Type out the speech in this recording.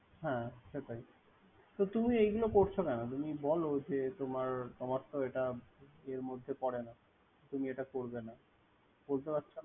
হুম সেটাই তো তুমি এগুলা করছ কেন? তুমি বল যে, তোমার-তোমার তো একটা মধ্যে পড়ে না। তুমি এটা করবে না। বলতে পারছো না।